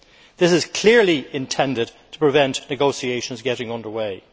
This is clearly intended to prevent negotiations getting underway.